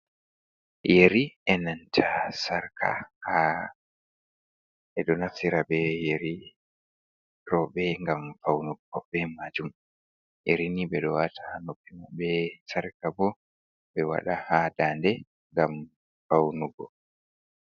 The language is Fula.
Yuri, e nanta sarka ɓe ɗo naftira be yeri rewɓe gam faunugo be majuum yerini ɓe ɗoo wata ha noppi, be sarka bo ɓe wada ha dande ngam faunugo.